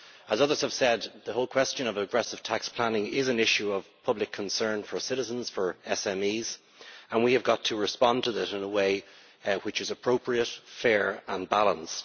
As others have said, the whole question of aggressive tax planning is an issue of public concern for citizens, for SMEs, and we have got to respond to that in a way which is appropriate, fair and balanced.